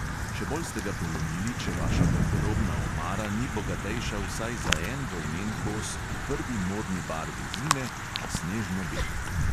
Še bolj ste ga polomili, če vaša garderobna omara ni bogatejša vsaj za en volnen kos v prvi modni barvi zime – snežno beli.